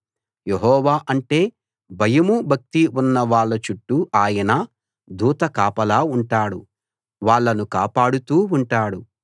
యెహోవా అంటే భయమూ భక్తీ ఉన్న వాళ్ళ చుట్టూ ఆయన దూత కాపలా ఉంటాడు వాళ్ళను కాపాడుతూ ఉంటాడు